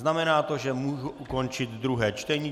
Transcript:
Znamená to, že mohu ukončit druhé čtení.